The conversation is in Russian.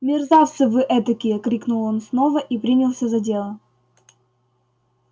мерзавцы вы этакие крикнул он снова и принялся за дело